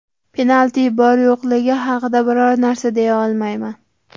Penalti bor yo‘qligi haqida biror narsa deya olmayman.